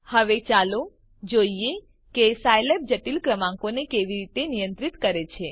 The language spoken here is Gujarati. હવે ચાલો જોઈએ કે સાયલેબ જટિલ ક્રમાંકોને કેવી રીતે નિયંત્રિત કરે છે